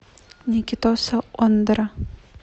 никитоса ондара